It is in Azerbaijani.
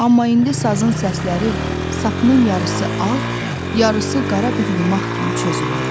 Amma indi sazın səsləri sapının yarısı ağ, yarısı qara bir yumaq kimi çözülürdü.